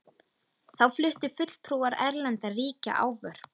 Þá fluttu fulltrúar erlendra ríkja ávörp.